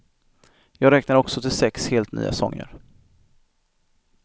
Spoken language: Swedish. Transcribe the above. Jag räknar också till sex helt nya sånger.